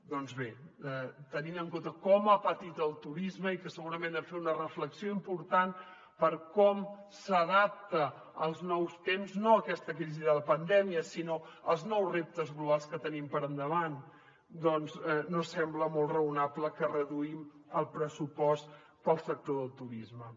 doncs bé tenint en compte com ha patit el turisme i que segurament hem de fer una reflexió important per com s’adapta als nous temps no a aquesta crisi de la pandèmia sinó als nous reptes globals que tenim per davant doncs no sembla molt raonable que reduïm el pressupost per al sector del turisme